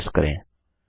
enter press करें